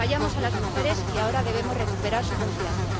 Fallamos a las mujeres y ahora debemos recuperar su confianza.